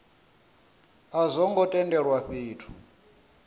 a zwo ngo tendelwa fhethu